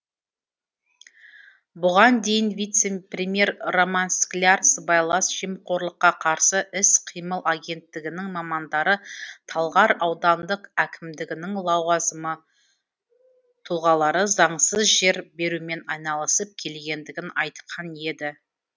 бұған дейін вице премьер роман скляр сыбайлас жемқорлыққа қарсы іс қимыл агенттігінің мамандары талғар аудандық әкімдігінің лауазымы тұлғалары заңсыз жер берумен айналысып келгендігін айтқан еді